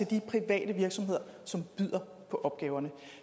de private virksomheder som byder på opgaverne